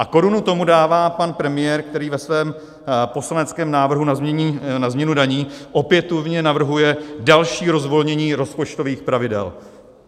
A korunu tomu dává pan premiér, který ve svém poslaneckém návrhu na změnu daní opětovně navrhuje další rozvolnění rozpočtových pravidel.